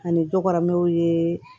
Ani dɔgɔmɛw ye